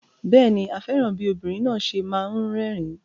Bẹ́ẹ̀ ni, a fẹ́ràn bí obìnrin náà ṣe máa ń rẹ́rìn-ín.